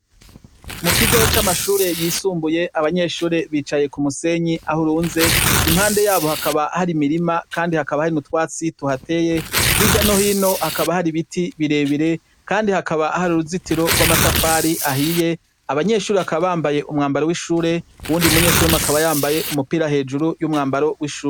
Mu kigo c'amashure yisumbuye abanyeshure bicaye ku musenyi aho urunze impande yabo hakaba hari imirima, kandi hakaba hari nutwatsi tuhateye h'irya nohino hakaba hari ibiti birebire, kandi hakaba hari uruzitiro rw'amatafari ahiye abanyeshuri hakaba bambaye umwambari w'ishure uwundi munyeshuri mu akaba yambaye umupira he ejuru y'umwambaro w'ishubu.